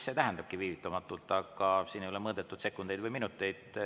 See tähendabki viivitamatult, aga siin ei ole mõõdetud sekundeid või minuteid.